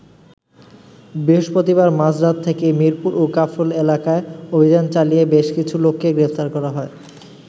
বৃহস্পতিবার মাঝরাত থেকে মিরপুর ও কাফরুল এলাকায় অভিযান চালিয়ে বেশ কিছু লোককে গ্রেফতার করা হয়।